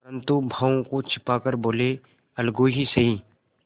परंतु भावों को छिपा कर बोलेअलगू ही सही